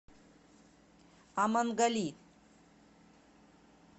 амангали